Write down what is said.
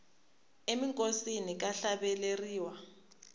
eminkosini ka hlaveleriwa